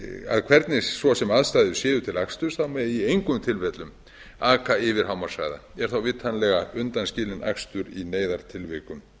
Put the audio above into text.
að hvernig svo sem aðstæður séu til akstur megi í engum tilfellum aka yfir hámarkshraða er þá vitanlega undanskilinn akstur í neyðartilvikum